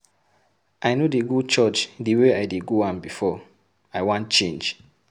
I no dey go church the way I dey go am before. I wan change.